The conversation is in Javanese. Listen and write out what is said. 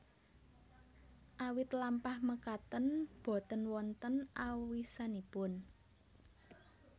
Awit lampah makaten boten wonten awisanipun